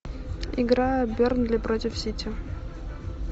игра бернли против сити